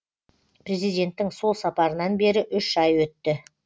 президенттің сол сапарынан бері үш ай өтті